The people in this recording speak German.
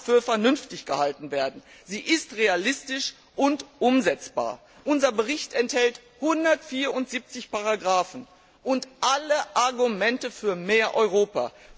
für vernünftig gehalten werden. Sie ist realistisch und umsetzbar. Unser Bericht enthält 174 Ziffern und alle Argumente für mehr Europa.